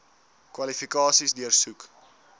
kwalifikasies deursoek